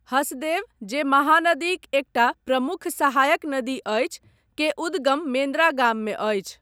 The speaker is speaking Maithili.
हसदेव, जे महानदीक एकटा प्रमुख सहायक नदी अछि, के उद्गम मेन्द्रा गाममे अछि।